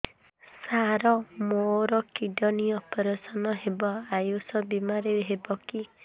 ସାର ମୋର kidney operation ହେବ ଆୟୁଷ ବିମାରେ ହେବ କି